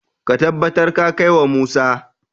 ka tabbar ka kai wa Musa!